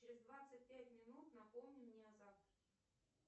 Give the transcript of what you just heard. через двадцать пять минут напомни мне о завтраке